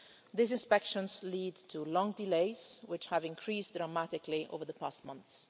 These inspections lead to long delays, which have increased dramatically over the past months.